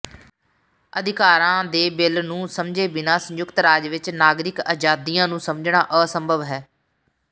ਅਧਿਕਾਰਾਂ ਦੇ ਬਿਲ ਨੂੰ ਸਮਝੇ ਬਿਨਾਂ ਸੰਯੁਕਤ ਰਾਜ ਵਿਚ ਨਾਗਰਿਕ ਆਜ਼ਾਦੀਆਂ ਨੂੰ ਸਮਝਣਾ ਅਸੰਭਵ ਹੈ